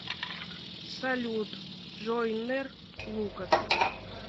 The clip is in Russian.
салют джойнер лукас